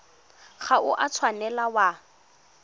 ga o a tshwanela wa